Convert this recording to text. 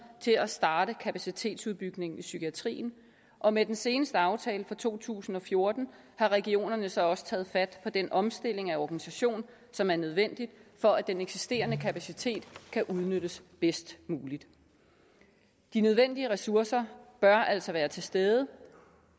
til at starte kapacitetsudbygningen af psykiatrien og med den seneste aftale for to tusind og fjorten har regionerne så også taget fat på den omstilling af organisation som er nødvendig for at den eksisterende kapacitet kan udnyttes bedst muligt de nødvendige ressourcer bør altså være til stede